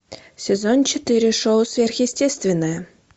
сезон четыре шоу сверхъестественное